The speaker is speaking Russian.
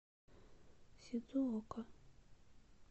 сидзуока